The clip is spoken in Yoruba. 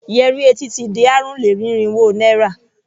Yẹrí etí ti di ààrùn-lé-ní-irínwó naira.